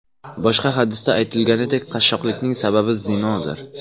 Boshqa hadisda aytilganidek, qashshoqlikning sababi zinodir.